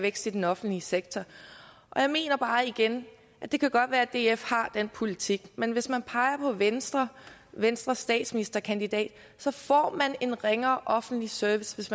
vækst i den offentlige sektor jeg mener bare igen at det godt kan være at df har den politik men hvis man peger på venstre og venstres statsministerkandidat får vi en ringere offentlig service hvis